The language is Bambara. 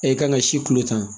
i kan ka si kulo tan